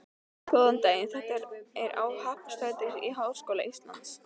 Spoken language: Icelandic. Góðan daginn, þetta er á Happadrætti Háskóla Íslands.